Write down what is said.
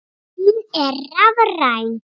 Hún er rafræn.